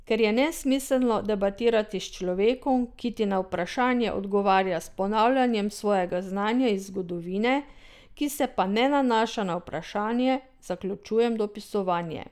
Ker je nesmiselno debatirati s človekom, ki ti na vprašanje odgovarja s ponavljanjem svojega znanja iz zgodovine, ki se pa ne nanaša na vprašanje, zaključujem dopisovanje.